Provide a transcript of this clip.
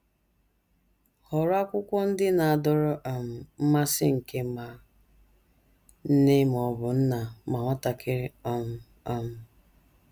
Họrọ akwụkwọ ndị na - adọrọ um mmasị nke ma nne ma ọ bụ nna ma nwatakịrị um. um